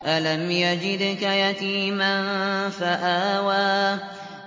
أَلَمْ يَجِدْكَ يَتِيمًا فَآوَىٰ